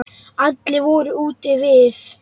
Allir voru úti við.